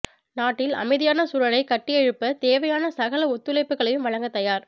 நாட்டில் அமைதியான சூழலைக் கட்டியெழுப்ப தேவையான சகல ஒத்துழைப்புக்களையும் வழங்க தயார்